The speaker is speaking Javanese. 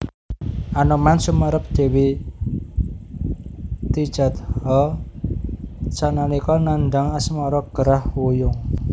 Anoman sumerep Dewi Tijatha sanalika nandhang asmara gerah wuyung